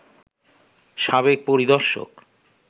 সাবেক পরিদর্শক